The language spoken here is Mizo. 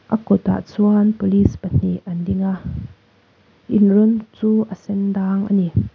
a kawtah chuan police pahnih an ding a in rawng chu a sen dang a ni.